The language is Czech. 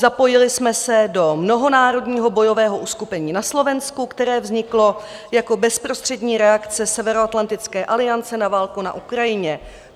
Zapojili jsme se do mnohonárodního bojového uskupení na Slovensku, které vzniklo jako bezprostřední reakce Severoatlantické aliance na válku na Ukrajině.